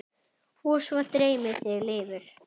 Og svo dreymir þig lifur!